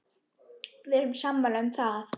Við erum sammála um það.